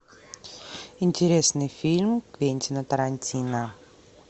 интересный фильм квентина тарантино